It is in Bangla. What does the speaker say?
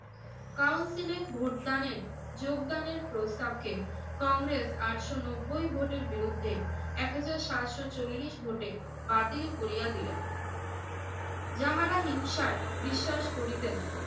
council এ ভোটদানের, যোগদানের প্রস্তাবকে কংগ্রেস আটশো নব্বই ভোটার বিরুদ্ধে এক হাজার সাতশো চল্লিশ ভোটে বাতিল করিয়া দিলেন। যাহারা হিংসায় বিশ্বাস করিতেন